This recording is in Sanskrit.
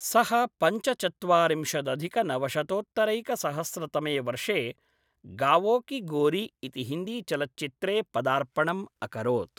सः पञ्चचत्वारिंशदधिकनवशतोत्तरैकसहस्रतमे वर्षे गावों की गोरी इति हिन्दीचलच्चित्रे पदार्पणम् अकरोत्।